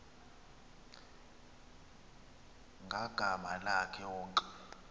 ngagama lakhe wonke